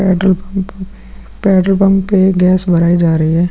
Petrol pump petrol pump पे gas भराई जा रही है।